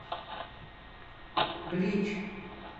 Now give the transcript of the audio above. блич